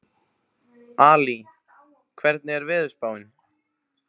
Ali, hvernig er veðurspáin?